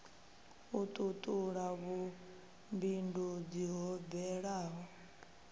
u tutula vhumbindudzi ho bvelaho